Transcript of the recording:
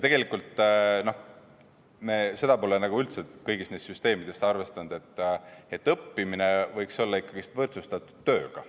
Me seda pole üldse kõigis neis süsteemides arvestanud, et õppimine võiks olla võrdsustatud tööga.